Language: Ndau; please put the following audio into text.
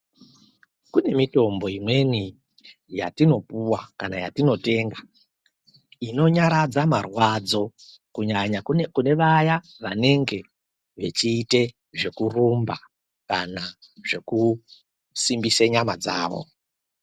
Kune mitombo imweni yatinopuwa kana yatinotenga inonyaradza marwadzo kunyanya kune vaya vanenge vechiite zvekurumba kana zvekusimbise nyama dzavo.